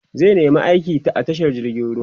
zai nema aiki a tashar jirgin ruwa